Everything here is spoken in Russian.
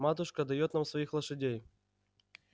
матушка даёт нам своих лошадей